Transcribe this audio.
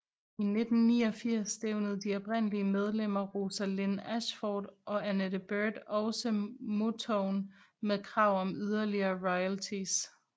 I 1989 stævnede de oprindelige medlemmer Rosalind Ashford og Annette Beard også Motown med krav om yderligere royalties